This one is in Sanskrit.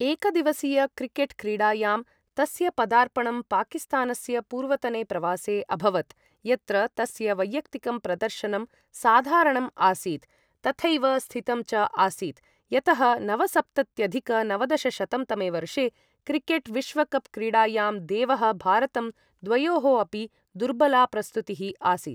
एकदिवसीयक्रिकेट् क्रीडायां तस्य पदार्पणं पाकिस्तानस्य पूर्वतने प्रवासे अभवत्, यत्र तस्य वैयक्तिकं प्रदर्शनं साधारणम् आसीत्, तथैव स्थितम् च आसीत् यतः नवसप्तत्यधिक नवदशशतं तमे वर्षे क्रिकेट् विश्वकप् क्रीडायां देवः भारतं द्वयोः अपि दुर्बला प्रस्तुतिः आसीत्।